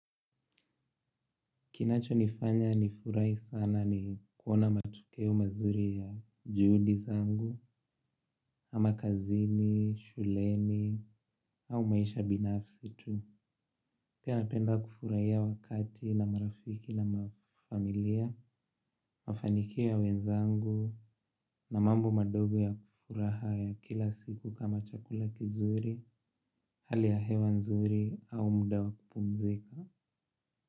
Kinacho nifanya nifurahi sana ni kuona matokeo mazuri ya juhudi zangu, ama kazini, shuleni, au maisha binafsi tu. Pia napenda kufurahia wakati na marafiki na familia, mafanikio ya wenzangu, na mambo madogo ya furaha ya kila siku kama chakula kizuri, hali ya hewa nzuri, au muda wa kupumzika.